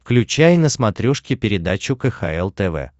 включай на смотрешке передачу кхл тв